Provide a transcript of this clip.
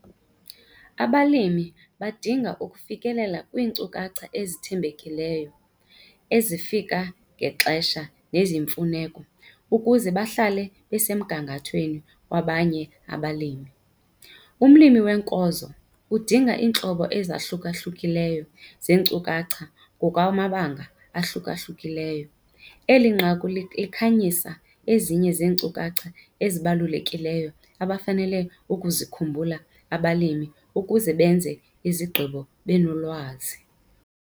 Abalimi badinga ukufikelela kwiinkcukacha ezithembekileyo, ezifika ngexesha neziyimfuneko ukuze bahlale besemgangathweni wabanye abalimi. Umlimi weenkozo udinga iintlobo ezahluka-hlukileyo zeenkcukacha ngokwamabanga ahluka-hlukileyo. Eli nqaku likhanyisa ezinye zeenkcukacha ezibalulekileyo abafanele ukuzikhumbula abalimi ukuze benze izigqibo benolwazi.